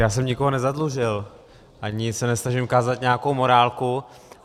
Já jsem nikoho nezadlužil ani se nesnažím kázat nějakou morálku.